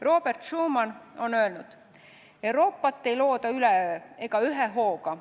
Robert Schuman on öelnud: "Euroopat ei looda üleöö ega ühe hooga.